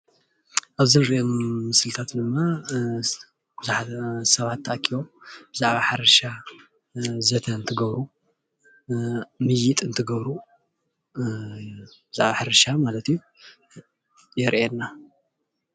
ኣብዚ እንሪኦ ምስልታት ድማ ቡዙሓት ሰባት ተኣኪቦም ብዛዕባ ሕርሻ ዘተ እንትገብሩ ምይይጥ እንትገብሩ ብዛዕባ ሕርሻ ማለት እዩ የርእየና ።